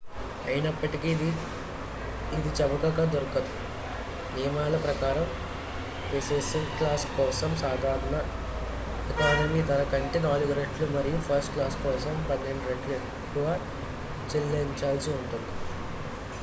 అయినప్పటికీ ఇది చవకగా దొరకదు నియమాల ప్రకారం బిసినెస్ క్లాస్ కోసం సాధారణ ఎకానమీ ధర కంటే 4 రెట్లు మరియు ఫస్ట్ క్లాస్ కోసం పదకొండు రెట్లు ఎక్కువ చెల్లించాల్సి ఉంటుంది